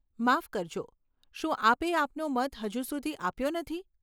માફ કરજો, શું આપે આપનો મત હજુ સુધી આપ્યો નથી?